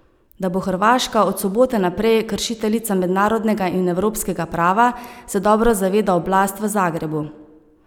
Da bo Hrvaška od sobote naprej kršiteljica mednarodnega in evropskega prava, se dobro zaveda oblast v Zagrebu.